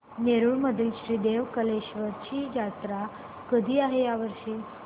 नेरुर मधील श्री देव कलेश्वर ची जत्रा कधी आहे या वर्षी